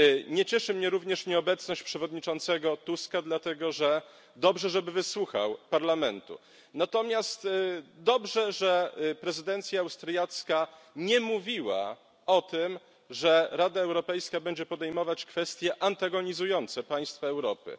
Nie cieszy mnie również nieobecność przewodniczącego Tuska, dlatego że dobrze, żeby wysłuchał Parlamentu. Natomiast dobrze, że prezydencja austriacka nie mówiła o tym, że Rada Europejska będzie podejmować kwestie antagonizujące państwa Europy.